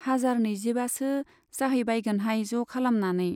हाजार नैजिबासो जाहैबायगोनहाय ज' खालामनानै।